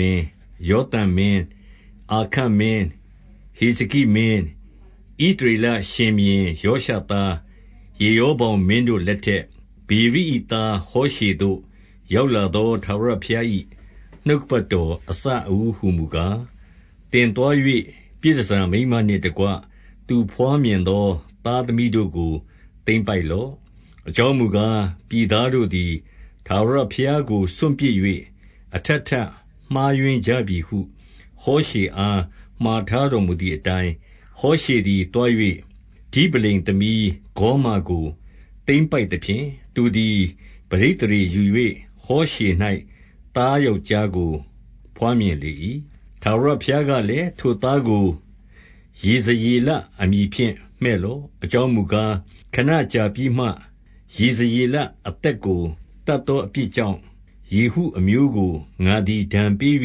မင်း၊ ယောသံမင်း၊ အာခတ် မင်း၊ ဟေဇကိမင်း၊ ဣသရေလရှင်ဘုရင်ယောရှသား ယေရောဗောင်မင်းတို့လက်ထက်၊ ဗေရိ၏ သားဟောရှေ သို့ ရောက်လာသောထာဝရဘုရား၏ နှုတ်ကပတ်တော် အစအဦးဟူမူကား၊ သင်သွား၍ ပြည်တန်ဆာမိန်းမနှင့်တကွ သူဘွား မြင်သော သားသမီးတို့ကို သိမ်းပိုက်လော့။ အကြောင်း မူကား၊ ပြည်သားတို့သည် ထာဝရဘုရားကုစွန့်ပစ်၍ အထပ်ထပ်မှားယွင်းကြပြီဟု ဟောရှေအား မှာထားတော်မူ သည်အတိုင်း၊ ဟောရှေသည်သွား၍ ဒိဗလိမ်သမီးဂေါမာကို သိမ်းပိုက်သဖြင့်၊ သူသည် ပဋိသန္ဓေယူ၍ ဟောရှေ၌ သားယောက်ျားကို ဘွားမြင်လေ၏။ ထာဝရဘုရားကလည်း၊ ထိုသားကို ယေဇရ အမည်ဖြင့် မှည့်လော့။ အကြောင်းမူကား၊ ခဏကြာပြီးမှ ယေဇရေလ အသက်ကိုသတ်သောအပြစ်ကြောင့်၊ ယေဟု အမျိုးကို ငါသည် ဒဏ်ပေး၍ ဣသ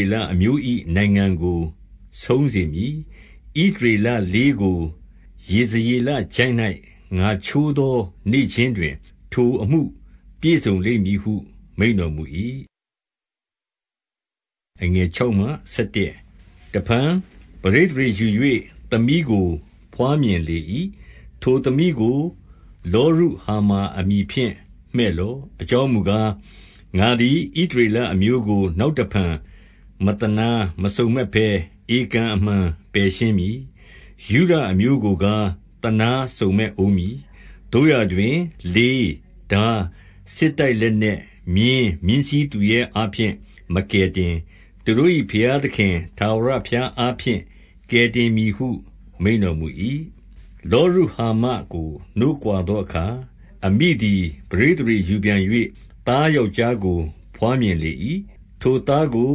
ရေလအမျိုး၏ နိုင်ငံ ကို ဆုံးစေမည်။ ဣသရေလလေးကို ယေဇရေလချိုင့်၌ ငါချိုး သော နေ့ခြင်းတွင် ထိုအမှုပြည့်စုံလိမ့်မည်ဟု မိန့်တော် မူ၏။ တဖန်ပဋိသန္ဓေယူ၍ သမီးကိုဘွားမြင်လေ၏။ ထိုသမီးကို လောရုဟာမာအမည်ဖြင့် မှည့်လော့။ အကြောင်းမူကား၊ ငါသည် ဣသရေလအမျိုးကို နောက် တဖန် မသနားမစုံမက်ဘဲ ဧကန်အမှန်ပယ်ရှင်းမည်။ ယုဒအမျိုးကိုကား သနားစုံမက်ဦးမည်။ သို့ရာ တွင် လေး၊ ထား၊ စစ်တိုက်၊ လက်နက်၊ မြင်း၊ မြင်းစီးသူရဲ အားဖြင့် မကယ်တင်၊ သူတို့၏ ဘုရားသခင် ထာဝရ ဘုရားအားဖြင့် ကယ်တင်မည်ဟု မိန့်တော်မူ၏။ လောရုဟာမာကို နို့ခွါသောအခါ၊ အမိသည် ပဋိသန္ဓေယူပြန်၍ သားယောက်ျားကို ဘွားမြင်လေ၏။ ထိုသားကို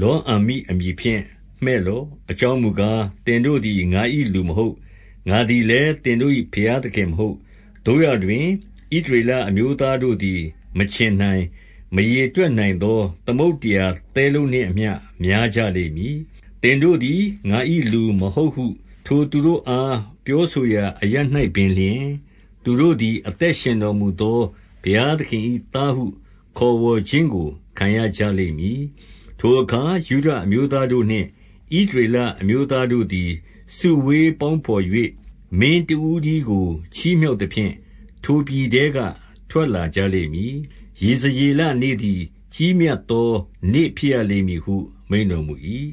လောအမ္မိအမည်ဖြင့် မှည့်လော့။ အကြောင်းမူကား၊ သင်တို့သည် ငါ၏လူမဟုတ်။ ငါသည် လည်း သင်တို့၏ ဘုရားသခင်မဟုတ်။ သို့ရာတွင်၊ ဣသရေလ အမျိုးသားတို့သည် မခြင်နိုင်၊ မရေတွက်နိုင်သော သမုဒ္ဒရာသဲလုံးနှင့်အမျှ များကြလိမ့်မည်။ သင်တို့သည် ငါ၏ လူမဟုတ်ဟု ထိုသူတို့အား ပြောဆိုရာ အရပ်၌ပင်လျှင်၊ သူတို့သည် အသက်ရှင်တော်မူသော ဘုရားသခင်၏သားဟု ခေါ် ဝေါ်ခြင်းကို ခံရကြလိမ့်မည်။ ထိုအခါ ယုဒအမျိုးသားတို့နှင့် ဣသရေလ အမျိုးသားတို့သည် စုဝေးပေါင်းတော်၍ မင်းတဦး တည်းကို ချီးမြှောက်သဖြင့် ထိုပြည်ထဲက ထွက်လာကြ လိမ့်မည်။ ယေဇရေလနေ့သည် ကြီးမြတ်သောနေ့ ဖြစ်ရလိမ့်မည်ဟု မိန့်တော်မူ၏။